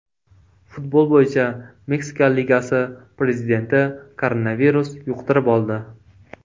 Futbol bo‘yicha Meksika ligasi prezidenti koronavirus yuqtirib oldi.